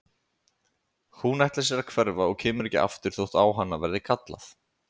Hún ætlar sér að hverfa og koma ekki aftur þótt á hana verði kallað.